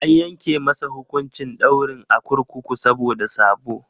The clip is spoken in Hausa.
An yanke masa hukuncin daurin a kurkuku saboda sabo.